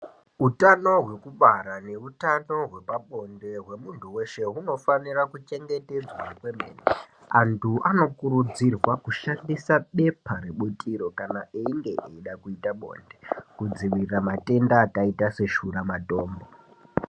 Utano hwekubara neutano hwepabonde hwemunhu weshe hunofanira kuchengetedzwa kwemene, antu anokurudzirwa kushandisa bepa rebutiro kana achinge eida kuita bonde kudzivirira matenda akaita seshuramatongo.